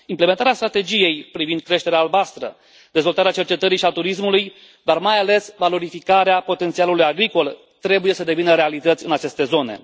Implementarea strategiei privind creșterea albastră, dezvoltarea cercetării și a turismului, dar mai ales valorificarea potențialului agricol trebuie să devină realități în aceste zone.